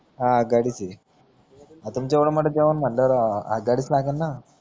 हा गाडीची जेव्हडा मोठा जेवण म्हणलं ना हदगडीच लागण ना